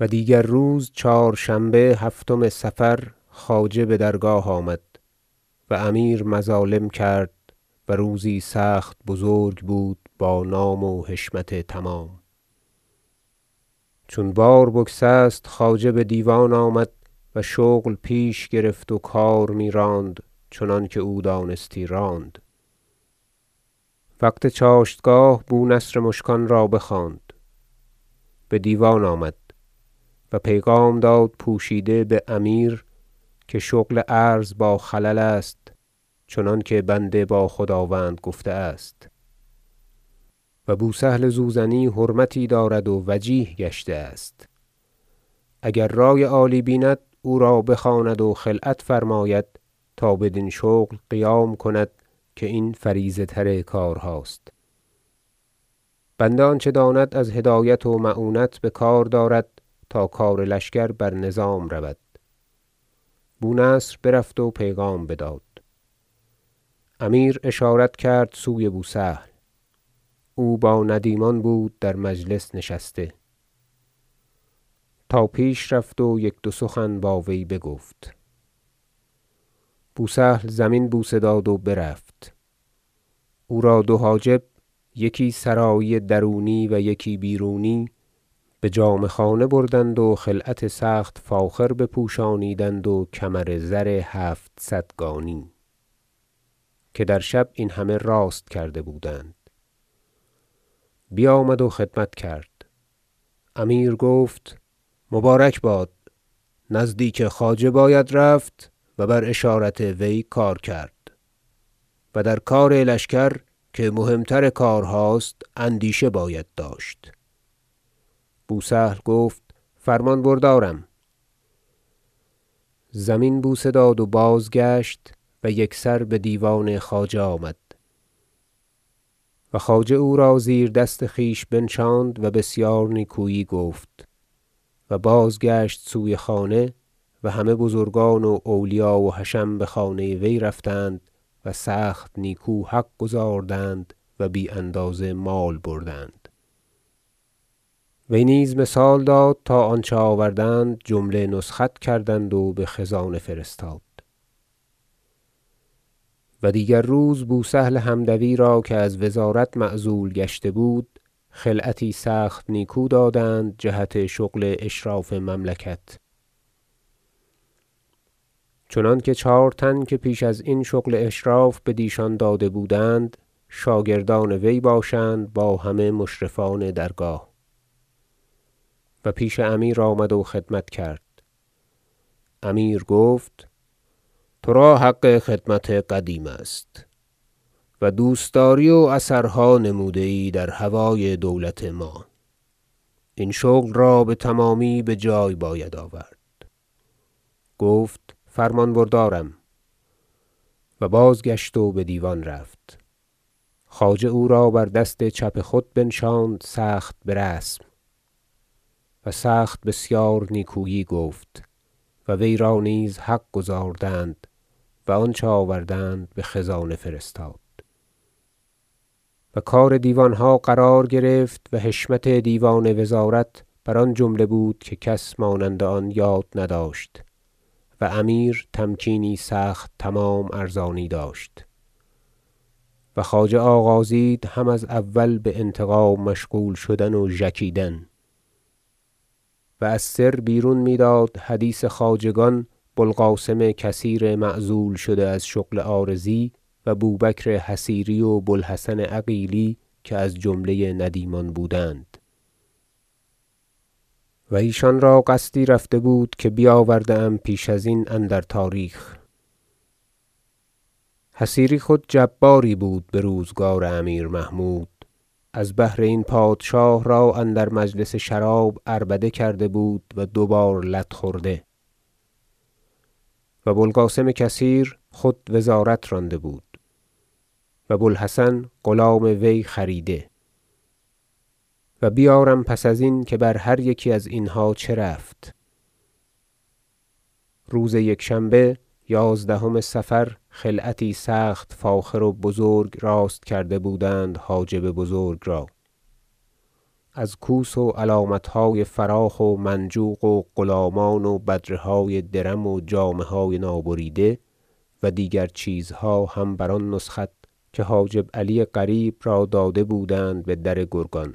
و دیگر روز چهارشنبه هفتم صفر خواجه بدرگاه آمد و امیر مظالم کرد و روزی سخت بزرگ بود بانام و حشمت تمام چون بار بگسست خواجه بدیوان آمد و شغل پیش گرفت و کار میراند چنانکه او دانستی راند وقت چاشتگاه بو نصر مشکان را بخواند بدیوان آمد و پیغام داد پوشیده بامیر که شغل عرض با خلل است چنانکه بنده با خداوند گفته است و بو سهل زوزنی حرمتی دارد و وجیه گشته است اگر رأی عالی بیند او را بخواند و خلعت فرماید تا بدین شغل قیام کند که این فریضه تر کارهاست بنده آنچه داند از هدایت و معونت بکار دارد تا کار لشکر بر نظام رود بو نصر برفت و پیغام بداد امیر اشارت کرد سوی بو سهل او با ندیمان بود در مجلس نشسته تا پیش رفت و یک دو سخن با وی بگفت بو سهل زمین بوسه داد و برفت او را دو حاجب یکی سرایی درونی و یکی بیرونی بجامه خانه بردند و خلعت سخت فاخر بپوشانیدند و کمر زر هفتصدگانی که در شب این همه راست کرده بودند بیامد و خدمت کرد امیر گفت مبارک باد نزدیک خواجه باید رفت و بر اشارت وی کار کرد و در کار لشکر که مهم تر کارهاست اندیشه باید داشت بو سهل گفت فرمان بردارم زمین بوسه داد و بازگشت و یکسر بدیوان خواجه آمد و خواجه او را زیر دست خویش بنشاند و بسیار نیکویی گفت و بازگشت سوی خانه و همه بزرگان و اولیا و حشم بخانه وی رفتند و سخت نیکو حق گزارند و بی اندازه مال بردند وی نیز مثال داد تا آنچه آوردند جمله نسخت کردند و بخزانه فرستاد و دیگر روز بو سهل حمدوی را که از وزارت معزول گشته بود خلعتی سخت نیکو دادند جهت شغل اشراف مملکت چنانکه چهار تن که پیش ازین شغل اشراف بدیشان داده بودند شاگردان وی باشند با همه مشرفان درگاه و پیش امیر آمد و خدمت کرد امیر گفت ترا حق خدمت قدیم است دوستداری و اثرها نموده ای در هوای دولت ما این شغل را بتمامی بجای باید آورد گفت فرمان بردارم و بازگشت و بدیوان رفت خواجه او را بر دست چپ خود بنشاند سخت برسم و سخت بسیار نیکویی گفت و وی را نیز حق گزاردند و آنچه آوردند بخزانه فرستاد و کار دیوانها قرار گرفت و حشمت دیوان وزارت بر آن جمله بود که کس مانند آن یاد نداشت و امیر تمکینی سخت تمام ارزانی داشت و خواجه آغازید هم از اول بانتقام مشغول شدن و ژکیدن و از سر بیرون میداد حدیث خواجگان بو القاسم کثیر معزول شده از شغل عارضی و بو بکر حصیری و بو الحسن عقیلی که از جمله ندیمان بودند و ایشان را قصدی رفته بود که بیاورده ام پیش ازین اندر تاریخ حصیری خود جباری بود بروزگار امیر محمود از بهر این پادشاه را اندر مجلس شراب عربده کرده بود و دو بار لت خورده و بو القاسم کثیر خود وزارت رانده بود و بو الحسن غلام وی خریده و بیارم پس ازین که بر هر یکی از اینها چه رفت روز یکشنبه یازدهم صفر خلعتی سخت فاخر و بزرگ راست کرده بودند حاجب بزرگ را از کوس و علامتهای فراخ و منجوق و غلامان و بدره های درم و جامه های نابریده و دیگر چیزها هم بر آن نسخت که حاجب علی قریب را داده بودند بدر گرگان